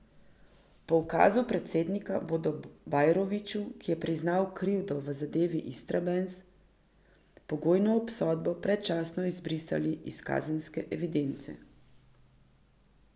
Po ukazu predsednika bodo Bajroviću, ki je priznal krivdo v zadevi Istrabenz, pogojno obsodbo predčasno izbrisali iz kazenske evidence.